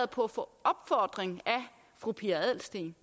på opfordring af fru pia adelsteen